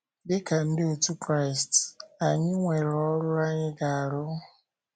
Dị ka ndị otú Kraịst, anyị nwere ọrụ anyị ga - arụ.